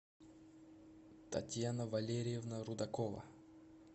татьяна валерьевна рудакова